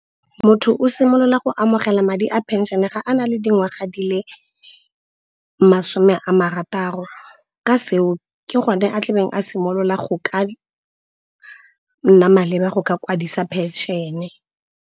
Motho o simolola go amogela madi a phenšene ga a na le dingwaga di le masome a marataro. Ka seo, ke gone a tlabeng a simolola go ka nna maleba go ka kwadisa phenšene.